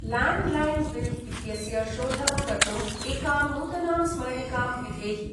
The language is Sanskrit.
लाण्ड्लैन् बिल् इत्यस्य शोधनं कर्तुम् एकां नूतनां स्मरणिकां विधेहि।